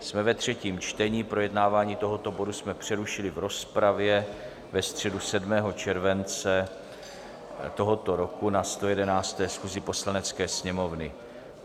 Jsme ve třetím čtení, projednávání tohoto bodu jsme přerušili v rozpravě ve středu 7. července tohoto roku na 111. schůzi Poslanecké sněmovny.